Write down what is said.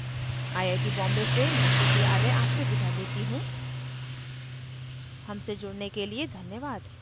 I I T Bombay से मैं श्रुति आर्य अब आपसे विदा लेती हूँ हमसे जुड़ने के लिए धन्यवाद